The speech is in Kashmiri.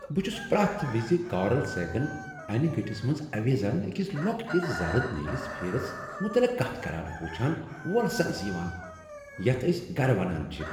بہٕ چھس پرٛیتھ وِزِ کارل سیگن انہ گٔٹس منٛز اویزان أکس لۄکٹس زرٕد نیٖلس پھیرِس متعلق کتھ کران وُچھان وولسنس یوان یتھ أسۍ گھرٕ ونان چِھ ۔